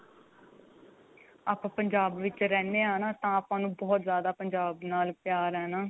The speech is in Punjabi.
ਆਪਾਂ ਪੰਜਾਬ ਵਿੱਚ ਰਹਿਨੇ ਆਂ ਨਾ ਤਾਂ ਆਪਾਂ ਨੂੰ ਬਹੁਤ ਜਿਆਦਾ ਪੰਜਾਬ ਨਾਲ ਪਿਆਰ ਏ ਨਾ